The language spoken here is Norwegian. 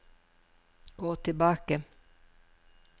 gå tilbake